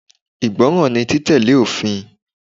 Ìgbọràn ni títẹ̀lé òfin.